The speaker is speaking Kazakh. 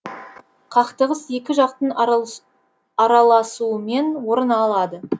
қақтығыс екі жақтың араласуымен орын алады